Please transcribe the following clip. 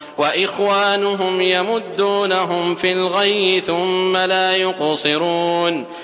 وَإِخْوَانُهُمْ يَمُدُّونَهُمْ فِي الْغَيِّ ثُمَّ لَا يُقْصِرُونَ